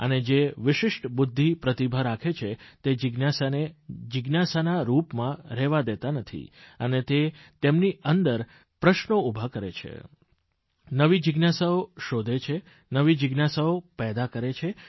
અને જે વિશિષ્ટ બુદ્ધિ પ્રતિભા રાખે છે તે જિજ્ઞાસાને જિજ્ઞાસાના રૂપમાં રહેવા દેતા નથી તે તેમની અંદર પણ પ્રશ્નો ઉભા કરે છે નવી જીજ્ઞાસાઓ શોધે છે નવી જિજ્ઞાસાઓ પેદા કરે છે